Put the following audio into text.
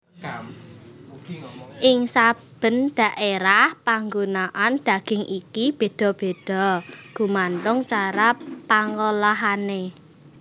Ing saben daerah panggunaan daging iki béda béda gumantung cara pangolahané